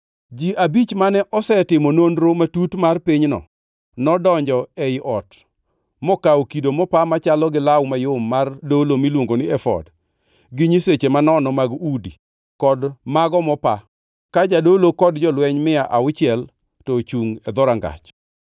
Ji abich mane osetimo nonro matut mar pinyno nodonjo ei ot mokawo kido mopa machalo gi law mayom mar dolo miluongo ni efod, gi nyiseche manono mag udi, kod mago mopa, ka jadolo kod jolweny mia auchiel to ochungʼ e dhorangach.